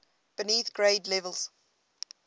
beneath grade levels